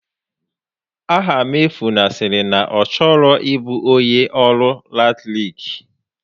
Afamefuna sịrị na ọ chọrọ ịbụ onyé ọrụ latiriki